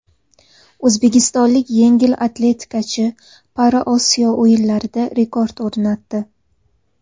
O‘zbekistonlik yengil atletikachi ParaOsiyo o‘yinlarida rekord o‘rnatdi.